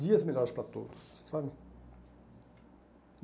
dias melhores para todos, sabe?